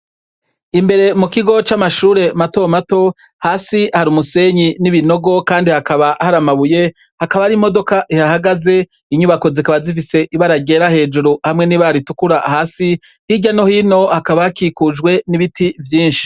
Imbere mu kigo c' amashure mato mato, hasi hari umusenyi n' ibinogo kandi hakaba hari amabuye, hakaba hari imodoka ihahagaze , inyubako zikaba zifise ibara ryera hejuru hamwe n' ibara ritukura hasi, hirya no hino hakaba hakikujwe n' ibiti vyinshi .